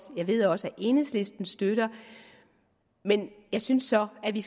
jeg ved at også enhedslisten støtter det jeg synes så at vi